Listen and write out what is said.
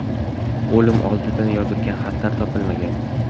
O‘lim oldidan yozilgan xatlar ham topilmagan.